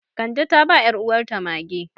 Kande ta ba 'yaruwarta mage.